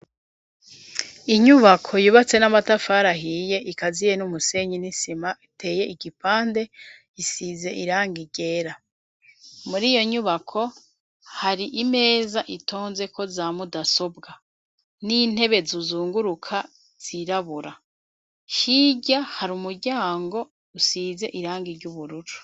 Inyubako yubatse n'amatafari ahiye ikaziye n'umusenyi n'isima iteye igipande isize irangi ryera .Muri iyo nyubako hari imeza itonze ko za mudasobwa n'intebe zuzunguruka zirabura hirya hari umuryango usize irangi ryubururu.